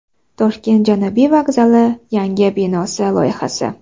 Toshkent Janubiy vokzali yangi binosi loyihasi.